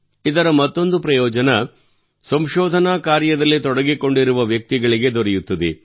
ಇದರ ಮತ್ತೊಂದು ಪ್ರಯೋಜನವು ಸಂಶೋಧನೆಯ ಕಾರ್ಯದಲ್ಲಿ ತೊಡಗಿಕೊಂಡಿರುವ ವ್ಯಕ್ತಿಗಳಿಗೆ ದೊರೆಯುತ್ತದೆ